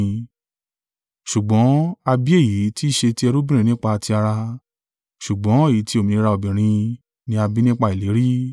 Ṣùgbọ́n a bí èyí tí ṣe ti ẹrúbìnrin nípa ti ara, ṣùgbọ́n èyí ti òmìnira obìnrin ni a bí nípa ìlérí.